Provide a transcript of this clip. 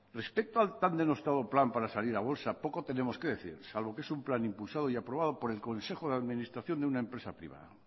respecto al tan denostado plan para salir a bolsa poco tenemos que decir salvo que es un plan impulsado y respaldado por el consejo de administración de una empresa privada